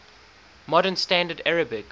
modern standard arabic